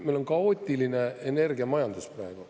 Meil on kaootiline energiamajandus praegu.